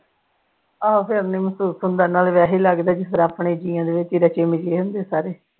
ਆਹੋ ਫਿਰ ਨੀ ਮਹਿਸੂਸ ਹੁੰਦਾ ਨਾਲੇ ਵੈਸੇ ਹੀ ਲੱਗਦਾ ਕਿ ਫਿਰ ਆਪਣੇ ਜਿਆਂ ਦੇ ਵਿੱਚ ਹੀ ਰਚੇ ਮਿਚੇ ਹੁੰਦੇ ਸਾਰੇ।